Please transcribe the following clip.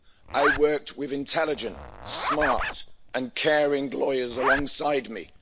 I worked with intelligent, smart and caring lawyers alongside me.